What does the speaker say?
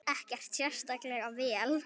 Ekkert sérstaklega vel.